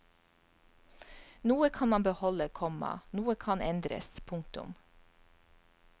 Noe kan man beholde, komma noe kan endres. punktum